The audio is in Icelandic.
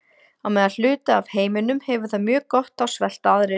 Á meðan hluti af heiminum hefur það mjög gott þá svelta aðrir.